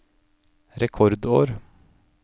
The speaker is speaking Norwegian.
rekordår